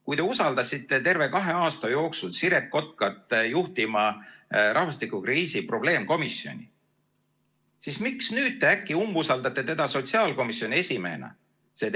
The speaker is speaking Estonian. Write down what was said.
Kui te usaldasite kahe aasta jooksul Siret Kotkat juhtima rahvastikukriisi probleemkomisjoni, siis miks te nüüd äkki umbusaldate teda sotsiaalkomisjoni esimehena?